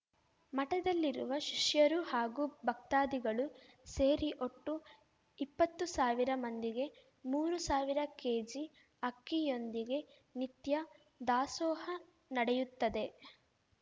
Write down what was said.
ಮಠದಲ್ಲಿರುವ ಶಿಷ್ಯರು ಹಾಗೂ ಭಕ್ತಾದಿಗಳು ಸೇರಿ ಒಟ್ಟು ಇಪ್ಪತ್ತು ಸಾವಿರ ಮಂದಿಗೆ ಮೂರು ಸಾವಿರ ಕೆಜಿ ಅಕ್ಕಿಯೊಂದಿಗೆ ನಿತ್ಯ ದಾಸೋಹ ನಡೆಯುತ್ತದೆ